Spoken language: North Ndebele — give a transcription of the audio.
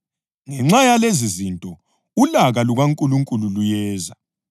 Ngenxa yalezizinto, ulaka lukaNkulunkulu luyeza.